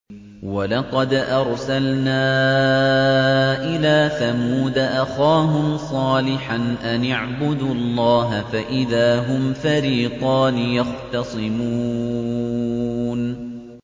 وَلَقَدْ أَرْسَلْنَا إِلَىٰ ثَمُودَ أَخَاهُمْ صَالِحًا أَنِ اعْبُدُوا اللَّهَ فَإِذَا هُمْ فَرِيقَانِ يَخْتَصِمُونَ